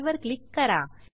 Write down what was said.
file वर click करा